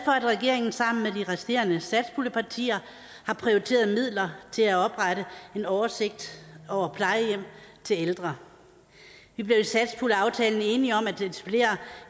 at regeringen sammen med de resterende satspuljepartier har prioriteret midler til at oprette en oversigt over plejehjem til ældre vi blev i satspuljeaftalen enige om at etablere